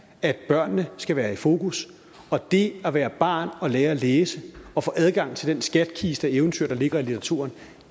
at børnene skal være i fokus og det at være barn og lære at læse og få adgang til den skattekiste af eventyr der ligger i litteraturen